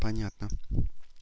понятно